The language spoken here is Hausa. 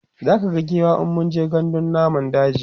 zaka ga giwa in mun je gandun namun daji